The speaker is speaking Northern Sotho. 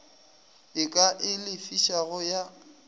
e ka e lefišago ya